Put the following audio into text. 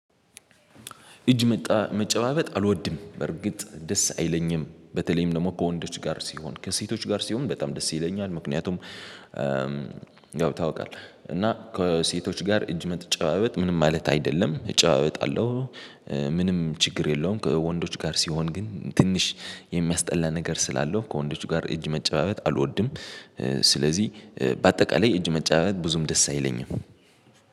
እጅ መጣ መጨባበጥ አልወድም። በርግጥ ደስ አይለኝም በተለይም ደግሞ ከወንዶች ጋር ሲሆን ከሴቶች ጋር ሲሆን በጣም ደስ ይለኛል። ምክንያቱም ያው ታውቃለህ እና ከሴቶች ጋር እጅ መጨባበጥ ምንም ማለት አይደለም እጨባበጣለሁ። ምንም ችግር የለውም ከወንዶች ጋር ሲሆን ግን ትንሽ የሚያስጠላ ነገር ስላለው ከወንዶቹ ጋር እጅ መጨባበት አልወድም። ስለዚህ በአጠቃላይ እጅ መጨባበጥት ብዙም ደስ አይለኝም።